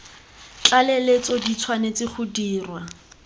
tlaleletso di tshwanetse go dirwa